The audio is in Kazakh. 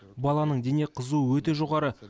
баланың дене қызуы өте жоғары